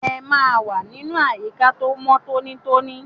Ẹ máa wà nínú àyíká tó mọ́ tóní tóní!